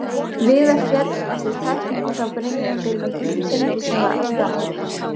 Viðar féll eftir tæklingu frá Brynjari Birni Gunnarssyni sem var á spjaldi.